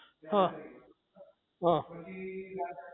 હા હા